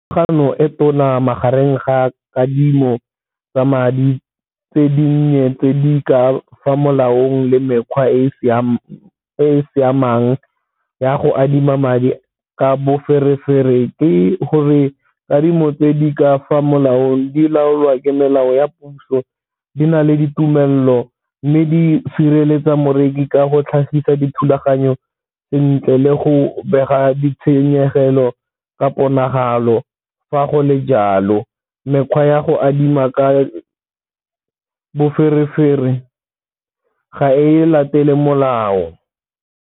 e tona magareng ga kadimo tsa madi tse di nnye tse di ka fa molaong le mekgwa e e siamang ya go adima madi ka boferefere, ke gore kadimo tse di ka fa molaong di laolwa ke melao ya puso di na le ditumelelo, mme di sireletsa moreki ka go tlhagisa dithulaganyo sentle le go bega ditshenyegelo ka ponagalo. Fa go le jalo mekgwa ya go adima ka boferefere ga e latele molao.